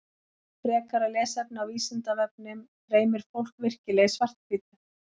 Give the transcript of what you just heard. Frekara lesefni á Vísindavefnum Dreymir fólk virkilega í svart-hvítu?